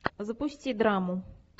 запусти драму